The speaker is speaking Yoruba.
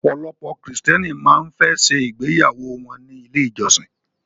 Ọ̀pọ̀lọpọ̀ krìstẹ́nì máa ń fẹ́ ṣe ìgbéyàwó wọ́n ní ilé ìjọsin.